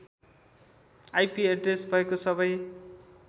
IP address भएको सबै